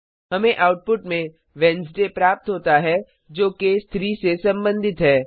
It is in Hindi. हमें आउटपुट में wednesdayबुधवार प्राप्त होता है जो केस 3 से संबंधित है